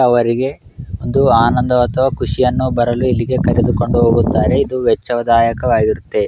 ಅವರಿಗೆ ಇದು ಆನಂದ ಅಥವಾ ಖುಷಿಯನ್ನು ಬರಲು ಇಲ್ಲಿಗೆ ಕರೆದು ಕೊಂಡು ಹೋಗುತ್ತಾರೆ ಇದು ವೆಚ್ಚ ದಾಯಕವಾಗಿರುತ್ತೆ